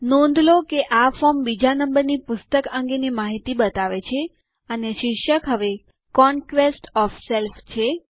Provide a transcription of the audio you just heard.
નોંધ લો કે આ ફોર્મ બીજા નમ્બરની પુસ્તક અંગેની માહિતી બતાવે છે અને શીર્ષક હવે કોન્ક્વેસ્ટ ઓએફ સેલ્ફ છે